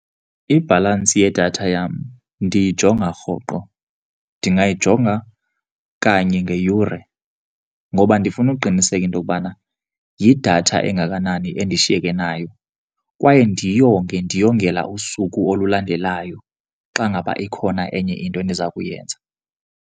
Ibhalansi yedatha yam ndiyijonga rhoqo. Ndingayijonga kanye ngeyure ngoba ndifuna ukuqiniseka into yokubana yidatha engakanani endishiyeka nayo kwaye ndiyonge ndiyongela kusuku olulandelayo xa ngaba ikhona enye into endiza kuyenza.